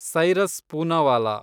Cyrus Poonawalla